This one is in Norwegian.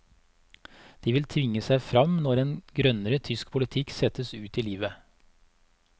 De vil tvinge seg frem når en grønnere tysk politikk settes ut i livet.